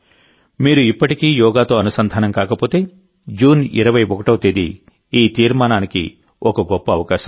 మీరు ఇప్పటికీ యోగాతో అనుసంధానం కాకపోతేజూన్ 21వ తేదీ ఈ తీర్మానానికి ఒక గొప్ప అవకాశం